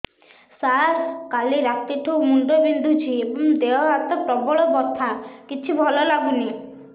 ସାର କାଲି ରାତିଠୁ ମୁଣ୍ଡ ବିନ୍ଧୁଛି ଏବଂ ଦେହ ହାତ ପ୍ରବଳ ବଥା କିଛି ଭଲ ଲାଗୁନି